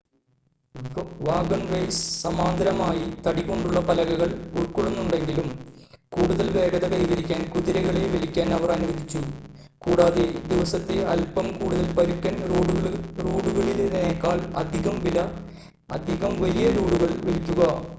wagonways സമാന്തരമായി തടി കൊണ്ടുള്ള പലകകൾ ഉൾക്കൊള്ളുന്നുണ്ടെങ്കിലും കൂടുതൽ വേഗത കൈവരിക്കാൻ കുതിരകളെ വലിക്കാൻ അവർ അനുവദിച്ചു കൂടാതെ ദിവസത്തെ അൽപ്പം കൂടുതൽ പരുക്കൻ റോഡുകളിൽനേക്കാൾ അധികം വലിയ ലോഡുകൾ വലിക്കുക